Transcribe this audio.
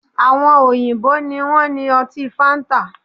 Àwọn òyìnbó ni wọ́n ní ọtí fáńtà